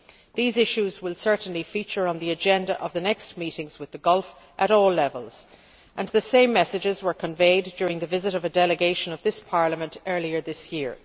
These issues will certainly feature on the agenda of the next meetings with the Gulf at all levels, and the same messages were conveyed during the visit of a delegation of this Parliament earlier this year.